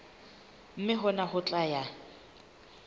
mme hona ho tla ya